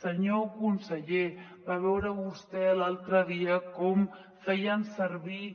senyor conseller va veure vostè l’altre dia com feien servir